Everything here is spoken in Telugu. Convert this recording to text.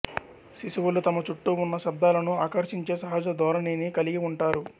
శిశువులు తమ చుట్టూ ఉన్న శబ్దాలను ఆకర్షించే సహజ ధోరణిని కలిగి ఉంటారు